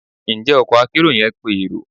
Njẹ ọkò akerò yẹn pe erò